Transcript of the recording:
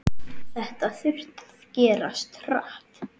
Þetta þurfti að gerast hratt.